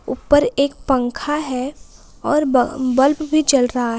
ऊपर एक पंखा है और ब बल्ब भी चल रहा है।